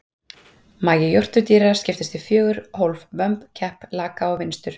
Magi jórturdýra skiptist í fjögur hólf, vömb, kepp, laka og vinstur.